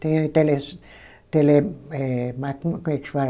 Tem o tele, tele, eh. Como é que fala?